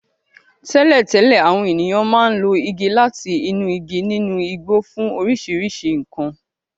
Tẹ́lẹ̀tẹ́lẹ̀, àwọn ènìyàn máa ń lo igi láti inú igi nínú igbó fún oríṣiríṣi nkan.